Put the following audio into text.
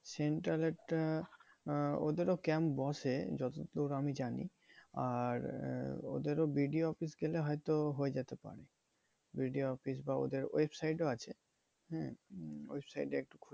Central এর টা আহ ওদের ও camp বসে যতদূর আমি জানি। আর আহ ওদেরও BDO অফিস গেলে হয়তো হয়ে যেতে পারে। BDO অফিস বা ওদের web site ও আছে। হ্যাঁ? web site এ